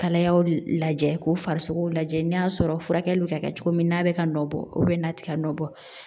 Kalayaw de lajɛ k'u farisogo lajɛ n'a sɔrɔ furakɛli bi ka kɛ cogo min na a be ka nɔ bɔ n'a ti ka nɔ bɔ